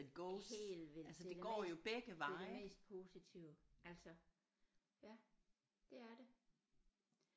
Helt vildt det det mest det det mest positive altså ja det er det